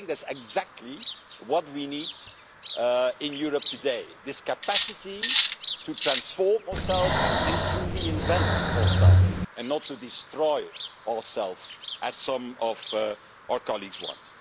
I think that is exactly what we need in Europe today this capacity to transform ourselves and to reinvent ourselves and not to destroy ourselves, as some of our colleagues want.